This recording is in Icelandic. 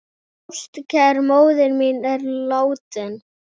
Ástkær móðir mín er látin.